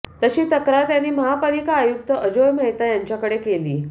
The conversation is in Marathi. तशी तक्रार त्यांनी महापालिका आयुक्त अजोय मेहता यांच्याकडे केली